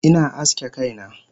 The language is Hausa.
Ina aske kaina